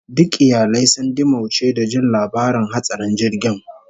Duk iyalai sun dimauce da jin labarin hatsarin jirgin